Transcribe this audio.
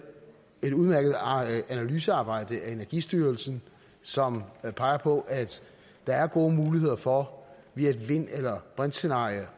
et udmærket analysearbejde af energistyrelsen som peger på at der er gode muligheder for via et vind eller brintscenarie